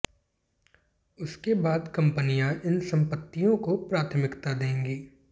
उसके बाद कंपनियां इन संपत्तियों को प्राथमिकता देंगी